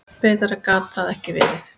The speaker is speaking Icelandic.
Betra gat það ekki verið.